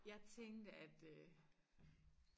jeg tænkte at øh